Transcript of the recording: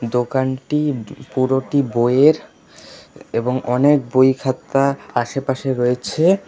দোকানটি প পুরোটি বইয়ের এবং অনেক বইখাতা আশেপাশে রয়েছে।